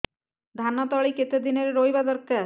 ଧାନ ତଳି କେତେ ଦିନରେ ରୋଈବା ଦରକାର